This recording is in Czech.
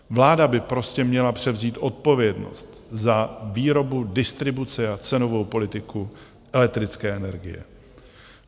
Vláda by prostě měla převzít odpovědnost za výrobu, distribuci a cenovou politiku elektrické energie.